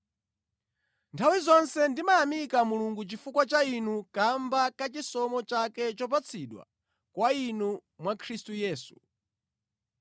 Nthawi zonse ndimayamika Mulungu chifukwa cha inu chifukwa cha chisomo chake chopatsidwa kwa inu mwa Khristu Yesu.